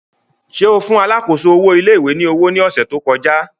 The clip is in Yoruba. Ṣe o fun alákòóso owo ilé ìwé ni owo ni ọsẹ to kọja?